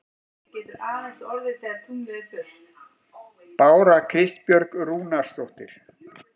Bára Kristbjörg Rúnarsdóttir